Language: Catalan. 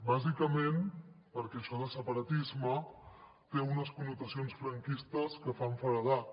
bàsicament perquè això de separatisme té unes connotacions franquistes que fan feredat